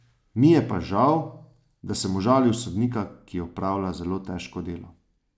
Mi je pa žal, da sem užalil sodnika, ki opravlja zelo težko delo.